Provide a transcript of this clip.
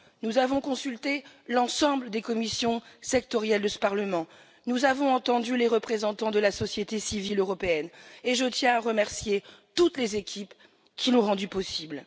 Nous avons consulté l'ensemble des commissions sectorielles de ce Parlement, nous avons entendu les représentants de la société civile européenne et je tiens à remercier toutes les équipes qui ont rendu cela possible.